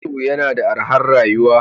Ghetto yana da arhar rayuwa.